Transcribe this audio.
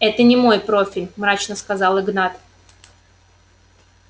это не мой профиль мрачно сказал игнат